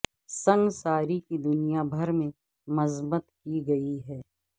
سنگساری کی دنیا بھر میں مذمت کی گئی ہے